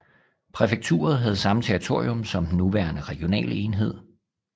Præfekturet havde samme territorium som den nuværende regionale enhed